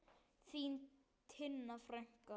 Þín Tinna frænka.